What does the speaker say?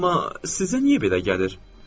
Amma sizə niyə belə gəlir?